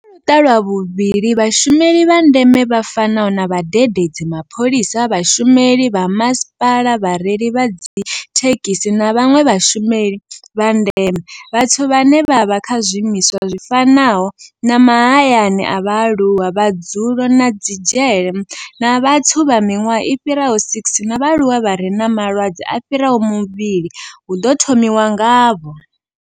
Kha Luṱa lwa vhuvhili, Vhashumeli vha ndeme vha fanaho na vhadededzi, mapholisa, vhashumeli vha masipala, vhareili vha dzithe khisi na vhanwe vhashumeli vha ndeme, vhathu vhane vha vha kha zwiimiswa zwi fanaho na mahayani a vhaaluwa, madzulo na dzi dzhele, na vhathu vha miṅwaha i fhiraho 60 na vhaaluwa vha re na malwadze a fhiraho mavhili hu ḓo thomiwa ngavho.